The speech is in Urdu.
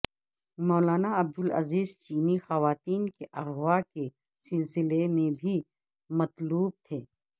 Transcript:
مولانا عبدالعزیز چینی خواتین کے اغواء کے سلسلے میں بھی مطلوب تھے